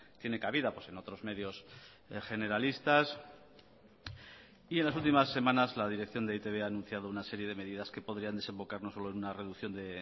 tiene cabida en otros medios generalistas y en las últimas semanas la dirección de e i te be ha anunciado una serie de medidas que podrían desembocar no solo en una reducción de